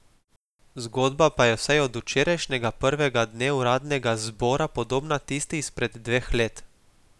Zgodba pa je vsaj od včerajšnjega prvega dne uradnega zbora podobna tisti izpred dveh let.